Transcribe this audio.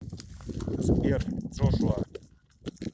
сбер джошуа